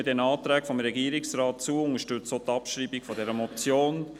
Wir stimmen den Anträgen des Regierungsrats zu und unterstützen die Abschreibung der Motion.